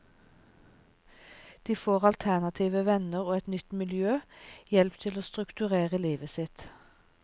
De får alternative venner og et nytt miljø, hjelp til å strukturere livet sitt.